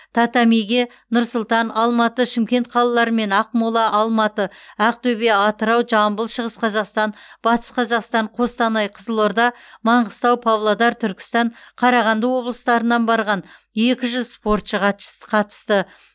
татамиге нұр сұлтан алматы шымкент қалалары мен ақмола алматы ақтөбе атырау жамбыл шығыс қазақстан батыс қазақстан қостанай қызылорда маңғыстау павлодар түркістан қарағанды облыстарынан барған екі жүз спортшы гатч қатысты